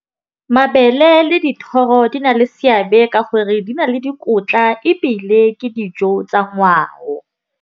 Mabele le dithoro di na le seabe ka gore di na le dikotla ebile ke dijo tsa ngwao.